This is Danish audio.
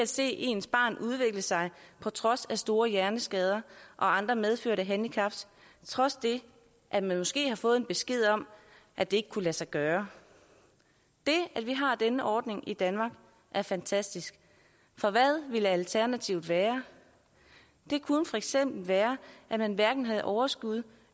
se ens barn udvikle sig på trods af store hjerneskader og andre medfødte handicaps trods det at man måske har fået en besked om at det ikke kunne lade sig gøre det at vi har denne ordning i danmark er fantastisk for hvad ville alternativet være det kunne for eksempel være at man hverken havde overskud